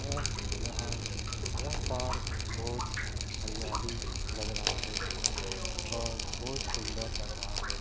अह यहाँ यह पार्क बहुत हरियाली लग रहा है और बहुत सुंदर लग रहा है।